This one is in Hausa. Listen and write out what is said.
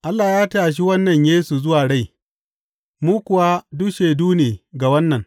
Allah ya tashe wannan Yesu zuwa rai, mu kuwa duk shaidu ne ga wannan.